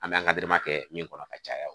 An bɛ kɛ min kɔnɔ ka caya